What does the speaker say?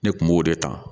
Ne kun b'o de ta